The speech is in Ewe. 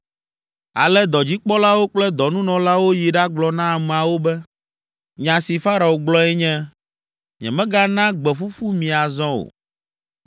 Ale dɔdzikpɔlawo kple dɔnunɔlawo yi ɖagblɔ na ameawo be, “Nya si Farao gblɔe nye, ‘Nyemagana gbe ƒuƒu mi azɔ o.